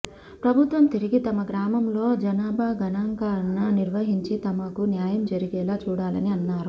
ప్రభుత్వం తిరిగి తమ గ్రామంలో జనా భా గణాంకన నిర్వహించి తమకు న్యాయం జరిగేలా చూడాలని అన్నారు